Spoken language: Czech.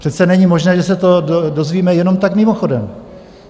Přece není možné, že se to dozvíme jenom tak mimochodem!